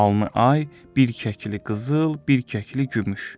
Alnı ay, bir kəkli qızıl, bir kəkli gümüş.